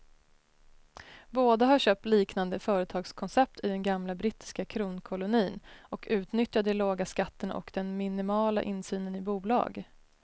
Båda har köpt liknande företagskoncept i den gamla brittiska kronkolonin och utnyttjar de låga skatterna och den minimala insynen i bolag.